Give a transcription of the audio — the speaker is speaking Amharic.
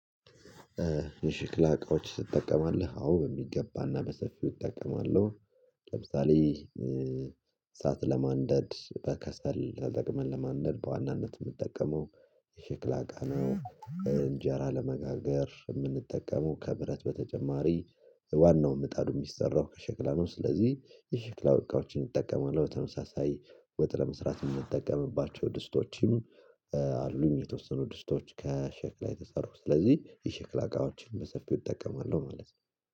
እሺ ክላቆች ትጠቀማለህ አዎ በሚገባ እና በሰፊው እጠቀማለሁ ለምሳሌ እሳት ለማንደድ በከሰል ተጠቅመን ለማንደድ በዋናነት ምጠቀመው የሽክላ እቃ ነው። እንጀራ ለመጋገር እምንጠቀመው ከብረት በተጨማሪ ዋናው ምጣዱ የሚሰራው ከሸክላ ነው። ስለዚህ የሸክላ እቃዎችን እንጠቀማለው በተመሳሳይ ወጥ ለመስራት የምጠቀምባቸው ድስቶችም አሉኝ የተወሰኑ ድስቶች ከሸክላ የተሰሩ ስለዚህ የሸክላ እቃዎችን በሰፊው እጠቀማለሁ ማለት ነው።